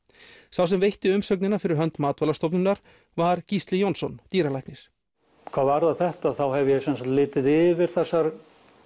sá sem veitti umsögnina fyrir hönd Matvælastofnunar var Gísli Jónsson dýralæknir hvað varðar þetta þá hef ég sem sagt litið yfir þessar